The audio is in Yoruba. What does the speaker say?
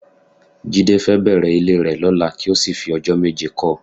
Jídé fẹ́ bẹ̀rẹ̀ ilé rẹ lọ́la kí ó sì fi ọjọ́ méje kọ́ ọ